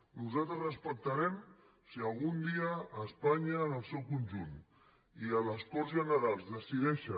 nosaltres respectarem si algun dia espanya en el seu conjunt i a les corts generals decideixen